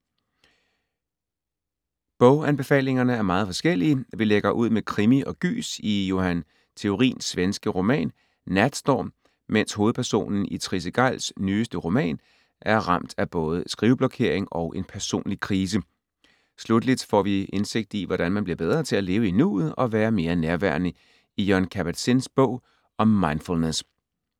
Boganbefalingerne er meget forskellige. Vi lægger ud med krimi og gys i Johan Theorins svenske roman Natstorm, mens hovedpersonen i Trisse Gejls nyeste roman er ramt af både skriveblokering og en personlig krise. Slutteligt får vi indsigt i, hvordan man bliver bedre til at leve i nuet og være mere nærværende i Jon Kabat-Zins bog om mindfulness.